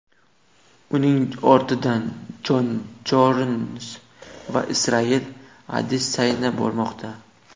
Uning ortidan Jon Jons va Israel Adesanya bormoqda.